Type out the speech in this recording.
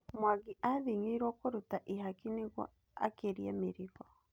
Mwangi athĩng'irwo kũruta ihaki nĩgũo akĩrie mĩrigo.